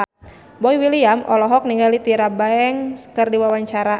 Boy William olohok ningali Tyra Banks keur diwawancara